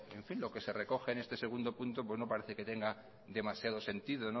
lo que se recoge en este segundo punto no parece que tenga demasiado sentido